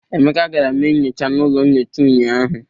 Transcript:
Emeka gara mee nnyocha n'ụlọ nnyocha unyaahụ.